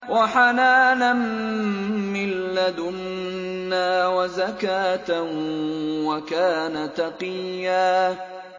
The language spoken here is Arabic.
وَحَنَانًا مِّن لَّدُنَّا وَزَكَاةً ۖ وَكَانَ تَقِيًّا